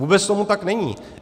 Vůbec tomu tak není.